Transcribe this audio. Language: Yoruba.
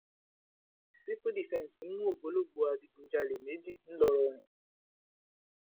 sífù dífẹǹsì mú ògbólógbòó adigunjalè méjì ńlọrọrìn